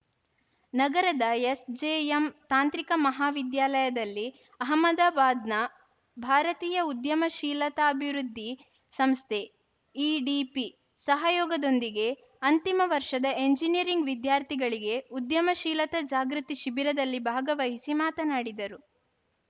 ನಗರದ ಎಸ್‌ಜೆಎಂ ತಾಂತ್ರಿಕ ಮಹಾವಿದ್ಯಾಲಯದಲ್ಲಿ ಅಹಮದಾಬಾದ್‌ನ ಭಾರತೀಯ ಉದ್ಯಮಶೀಲತಾಭಿವೃದ್ಧಿ ಸಂಸ್ಥೆ ಇಡಿಪಿ ಸಹಯೋಗದೊಂದಿಗೆ ಅಂತಿಮ ವರ್ಷದ ಎಂಜಿನಿಯರಿಂಗ್‌ ವಿದ್ಯಾರ್ಥಿಗಳಿಗೆ ಉದ್ಯಮಶೀಲತ ಜಾಗೃತಿ ಶಿಬಿರದಲ್ಲಿ ಭಾಗವಹಿಸಿ ಮಾತನಾಡಿದರು